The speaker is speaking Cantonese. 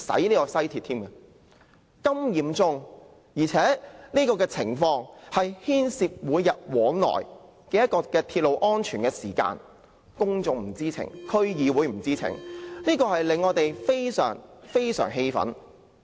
情況如此嚴重，而且牽涉每天往來的鐵路安全，但公眾和區議會均不知情，這令我們感到極為氣憤。